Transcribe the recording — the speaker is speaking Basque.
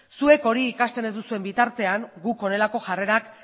zuek hori ikasten ez duzuen bitartean guk honelako jarrerak